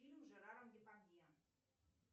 фильм с жераром депардье